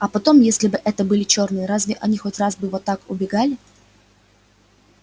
а потом если бы это были чёрные разве они хоть раз вот так убегали